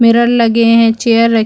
mirror लगे है chair रख--